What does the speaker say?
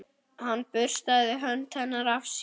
Hann burstaði hönd hennar af sér.